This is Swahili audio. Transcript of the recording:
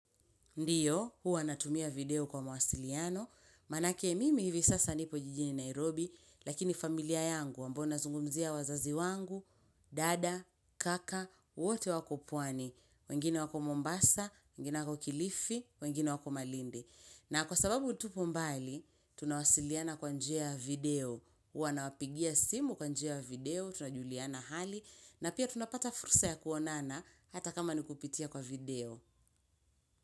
Ndiyo, huwa natumia video kwa mawasiliano. Manake mimi hivi sasa nipo jijini Nairobi, lakini familia yangu, ambao nazungumzia wazazi wangu, dada, kaka, wote wako pwani. Wengine wako mombasa, wengine wako kilifi, wengine wako malindi. Na kwa sababu tupo mbali, tunawasiliana kwa njia video. Huwa na wapigia simu kwa njia video, tunajuliana hali, na pia tunapata fursa ya kuonana, hata kama nikupitia kwa video.